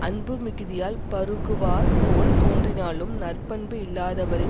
அன்பு மிகுதியால் பருகுவார் போல் தோன்றினாலும் நற்பண்பு இல்லாதவரின்